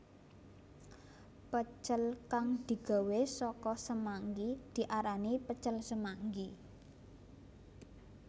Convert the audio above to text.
Pecel kang digawé saka semanggi diarani pecel semanggi